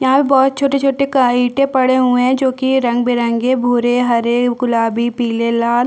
यहाँ पे बहोत छोटे-छोटे इठे पड़े हुए है जो कि रंग-बिरंगी भुरे हरे गुलाबी पिले ल लाल--